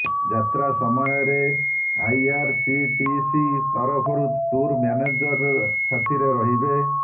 ଯାତ୍ରା ସମୟରେ ଆଇଆରସିଟିସି ତରଫରୁ ଟୁର ମ୍ୟାନେଜର ସାଥିରେ ରହିବେ